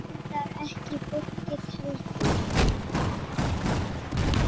Reyndar ekki fólkið heldur.